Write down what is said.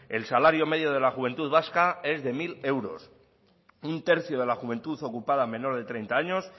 el salario medio de la juventud vasca es de mil euros un tercio de la juventud ocupada menor de treinta años